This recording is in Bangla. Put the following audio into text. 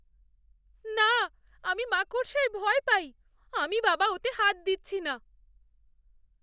না! আমি মাকড়সায় ভয় পাই। আমি বাবা ওতে হাত দিচ্ছি না।